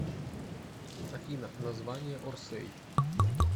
афина название орсэй